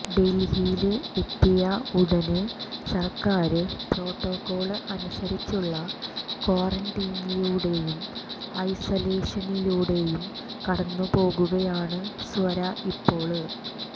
ഡല്ഹിയില് എത്തിയ ഉടന് സര്ക്കാര് പ്രോട്ടോക്കോള് അനുസരിച്ചുള്ള ക്വാറന്റീനിലൂടെയും ഐസലേഷനിലൂടെയും കടന്നുപോകുകയാണ് സ്വര ഇപ്പോള്